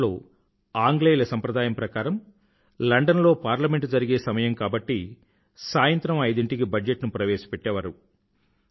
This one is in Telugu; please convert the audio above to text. మొదట్లో ఆంగ్లేయుల సంప్రదాయం ప్రకారం లండన్ లో పార్లమెంట్ జరిగే సమయం కాబట్టి సాయంత్రం ఐదింటికి బజట్ ను ప్రవేశపెట్టేవారు